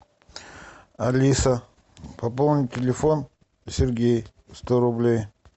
алиса пополнить телефон сергей сто рублей